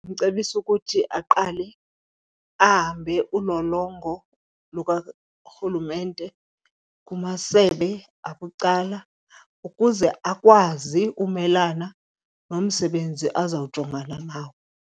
Ndimcebisa ukuthi aqale ahambe ulolongo lukarhulumente kumasebe abucala ukuze akwazi umelana nomsebenzi azawujongana nawo.